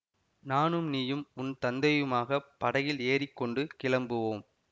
நானும் நீயும் உன் தந்தையுமாகப் படகில் ஏறி கொண்டு கிளம்புவோம்